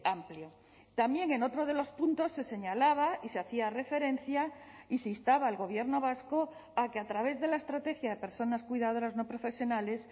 amplio también en otro de los puntos se señalaba y se hacía referencia y se instaba al gobierno vasco a que a través de la estrategia de personas cuidadoras no profesionales